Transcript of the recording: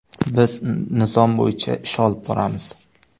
Biz nizom bo‘yicha ish olib boramiz.